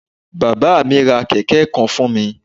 Bábá à mí ra kèké kan fún mi